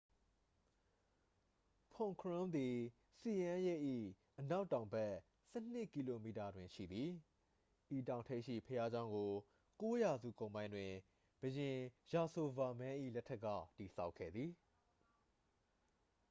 ဖွန်ခရွမ်းသည် ဆီယန်းရိပ် ၏ အနောက်တောင်ဘက် 12 ကီလိုမီတာတွင်ရှိသည် ဤတောင်ထိပ်ရှိ ဘုရားကျောင်းကို 9 ရာစုကုန်ပိုင်းတွင် ဘုရင် ယာဆိုဗာမန်း၏ လက်ထက်က တည်ဆောက်ခဲ့သည်